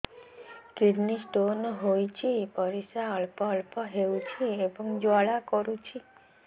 kidney stone ହୋଇଛି ପରିସ୍ରା ଅଳ୍ପ ଅଳ୍ପ ହେଉଛି ଏବଂ ଜ୍ୱାଳା କରୁଛି